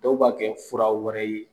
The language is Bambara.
Dɔw b'a kɛ fura wɛrɛ ye.